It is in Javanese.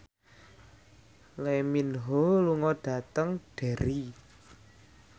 Lee Min Ho lunga dhateng Derry